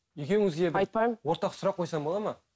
екеуіңізге ортақ сұрақ қойсам болады ма